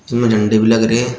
इसमें झंडे भी लग रहे हैं।